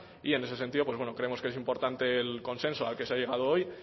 y en ese sentido pues bueno creemos que es importante el consenso al que se ha llegado hoy